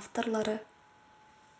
авторлары